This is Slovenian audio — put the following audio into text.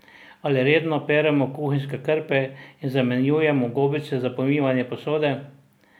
Ali redno peremo kuhinjske krpe in zamenjujemo gobice za pomivanje posode?